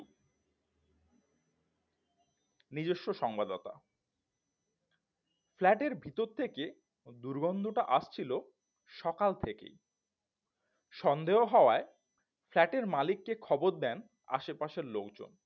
নিজস্ব সংবদতা flat এর ভিতর থেকে দুর্গন্ধটা আসছিল সকাল থেকেই সন্দেহ হওয়ায় flat এর মালিক কে খবর দেন আশেপাশের লোকজন